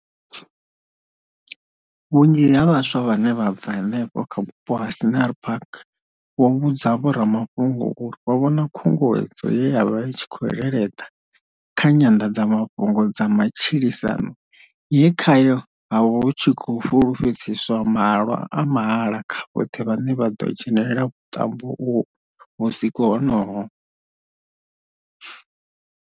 Vhunzhi ha vhaswa vhane vha bva henefho kha vhupo ha Scenery Park vho vhudza vhoramafhungo uri vho vhona khunguwedzo ye ya vha i tshi khou leleḓa kha nyanḓadzamafhungo dza matshilisano ye khayo ha vha hu tshi khou fulufhedziswa mahalwa a mahala kha vhoṱhe vhane vha ḓo dzhenela vhuṱambo uho vhusiku honoho.